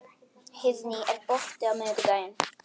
Heiðný, er bolti á miðvikudaginn?